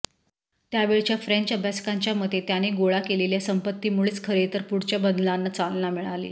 त्यावेळच्या फ़्रेंच अभ्यासकांच्या मते त्याने गोळा केलेल्या संपत्तीमुळेच खरेतर पुढच्या बदलांना चालना मिळाली